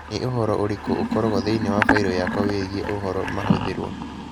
Nĩ ũhoro ũrĩkũ ũkoragwo thĩinĩ wa failo yakwa wĩgiĩ ũhoro mahũthĩrũo